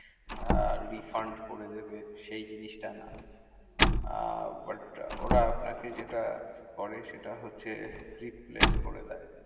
আহ refund করে দেবে সেই জিনিসটা না। আহ but ওরা আপনাকে যেটা করে, সেটা হচ্ছে replace করে দেয়।